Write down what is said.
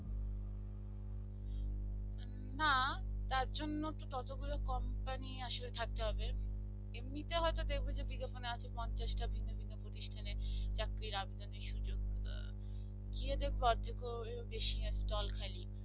তার জন্য ততগুলো company আসলে থাকতে হবে এমনিতে হয়তো দেখবে যে বিজ্ঞাপনে আছে পঞ্চাশটা ভিন্ন ভিন্ন প্রতিষ্ঠানে চাকরির আবেদনের সুযোগ গুলো গিয়ে যে অর্ধেক এর বেশি stall খালি